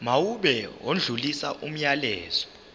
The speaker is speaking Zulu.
mawube odlulisa umyalezo